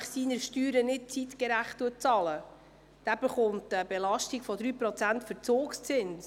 Wer die Steuern nicht zeitgemäss bezahlt, erhält eine Belastung von 3 Prozent Verzugszinsen.